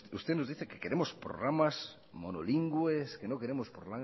usted nos dice que queremos programas monolingües que no queremos